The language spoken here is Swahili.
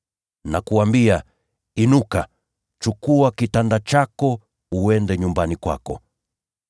“Nakuambia, inuka, chukua mkeka wako, uende nyumbani kwako.”